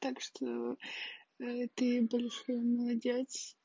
так что ты большой молодец